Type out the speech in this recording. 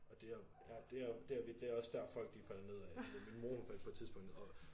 Og det er ja det er det vi det er også der folk de falder ned af min min mor faldt på et tidspunkt og